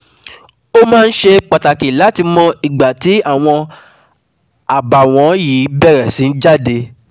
Ó máa ṣe pàtàkì láti mọ ìgbà tí àwọn àbàwọ́n yìí bẹ̀rẹ̀ sí jáde